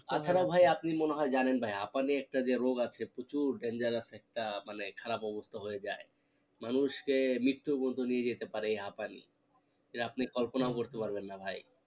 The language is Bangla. তাছাড়া ভাই আপনি মনে হয় জানেন ভাই হাঁপানি একটা যে রোগ আছে প্রচুর dangerous একটা মানে খারাপ অবস্থা হয়ে যায় মানুষকে মৃত্যু পর্যন্ত নিয়ে যেতে পারে এই হাঁপানি যেটা আপনি কল্পনাও করতে পারবেন না ভাই